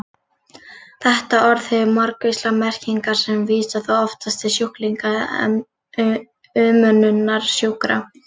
Þetta orð hefur margvíslegar merkingar sem vísa þó oftast til sjúklinga eða umönnunar sjúkra.